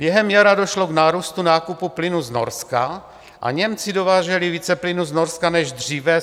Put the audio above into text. Během jara došlo k nárůstu nákupu plynu z Norska a Němci dováželi více plynu z Norska než dříve.